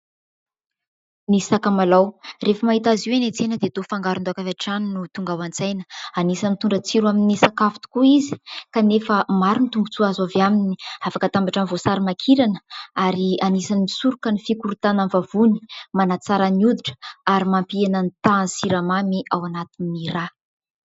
Ny sakamalao, rehefa mahita azy eny an-tsena dia toa fangaron-daoka avy hatrany no tonga ao an-tsaina anisan'ny mitondra tsiro amin'ny sakafo tokoa izy kanefa maro ny tombotsoa azo avy aminy : afaka atambatra amin'ny voasary makirana ary anisan'ny misoroka ny fikorontanan'ny vavony, manatsara ny hoditra ary mampihena ny tahan'ny siramamy ao anatin'ny rà.